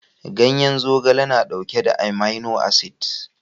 Ganyen zogale na dauke da amino acid